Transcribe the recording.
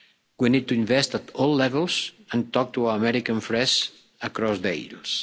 We need to invest at all levels and talk to our American friends across the aisle.